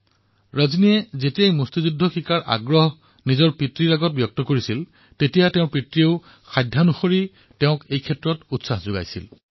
ৰজনীয়ে যেতিয়া দেউতাকক বক্সিং শিকাৰ ইচ্ছাৰ প্ৰকাশ কৰিলে তেতিয়া দেউতাকে সকলো সম্ভৱ সাধন গোটাই ৰজনীক উৎসাহ দিলে